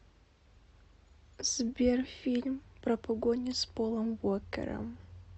сбер фильм про погони с полом уокером